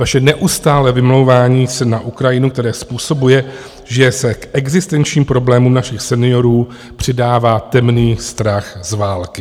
Vaše neustálé vymlouvání se na Ukrajinu, které způsobuje, že se k existenčním problémům našich seniorů přidává temný strach z války.